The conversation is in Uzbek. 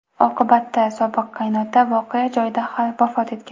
Oqibatda sobiq qaynota voqea joyida vafot etgan.